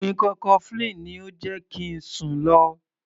Oògùn ikọ́ cofflin ni ó jẹ́ kí ń sùn lo.